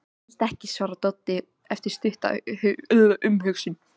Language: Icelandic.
Ég held ekki, svarar Doddi eftir stutta umhugsun.